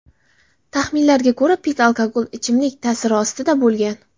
Taxminlarga ko‘ra, Pitt alkogol ichimlik ta’siri ostida bo‘lgan.